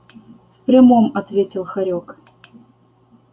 в прямом ответил хорёк